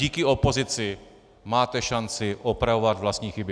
Díky opozici máte šanci opravovat vlastní chyby.